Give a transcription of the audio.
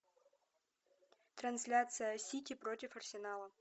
трансляция сити против арсенала